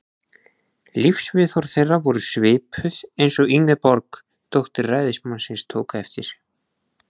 Lífsviðhorf þeirra voru svipuð, eins og Ingeborg, dóttir ræðismannsins, tók eftir.